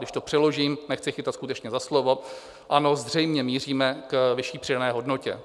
Když to přeložím - nechci chytat skutečně za slovo - ano, zřejmě míříme k vyšší přidané hodnotě.